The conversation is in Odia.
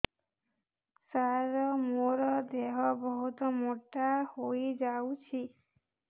ସାର ମୋର ଦେହ ବହୁତ ମୋଟା ହୋଇଯାଉଛି